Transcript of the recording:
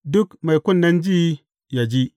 Duk mai kunnen ji, yă ji.